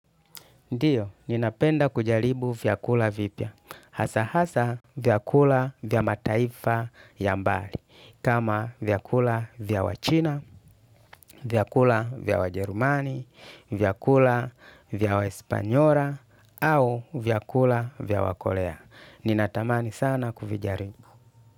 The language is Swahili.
Ndiyo, ninapenda kujaribu vyakula vipya. Hasa hasa vyakula vya mataifa ya mbali. Kama vyakula vya wachina, vyakula vya wajerumani, vyakula vya wahispanyola, au vyakula vya wakorea. Ninatamani sana kujalibu.